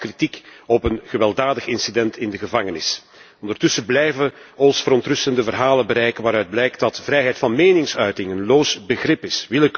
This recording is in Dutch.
Hij gaf kritiek op een gewelddadig incident in de gevangenis. Ondertussen blijven ons verontrustende verhalen bereiken waaruit blijkt dat vrijheid van meningsuiting een loos begrip is.